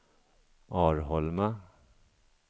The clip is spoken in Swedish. Arholma